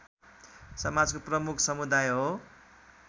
समाजको प्रमुख समुदाय हो